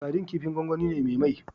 Sadin kifin gwangwani ne me mai